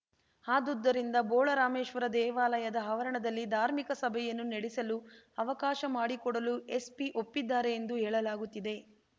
ಅದುದ್ದರಿಂದ ಬೋಳರಾಮೇಶ್ವರ ದೇವಾಲಯದ ಆವರಣದಲ್ಲಿ ಧಾರ್ಮಿಕ ಸಭೆಯನ್ನು ನಡೆಸಲು ಅವಕಾಶ ಮಾಡಿಕೊಡಲು ಎಸ್ಪಿ ಒಪ್ಪಿದ್ದಾರೆ ಎಂದು ಹೇಳಲಾಗುತ್ತಿದೆ